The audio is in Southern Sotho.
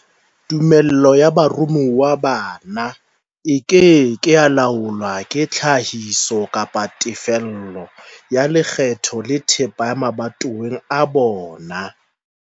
Tumello ya baromuwa bana e ke ke ya laolwa ke tlhahiso kapa tefello ya lekgetho la thepa mabatoweng a bona.